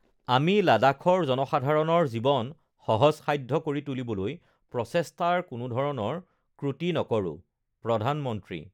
আমি লাডাখৰ জনসাধাৰণৰ জীৱন সহজসাধ্য কৰি তুলিবলৈ প্ৰচেষ্টাৰ কোনোধৰণৰ ক্ৰুটি নকৰোঁঃ প্ৰধানমন্ত্ৰী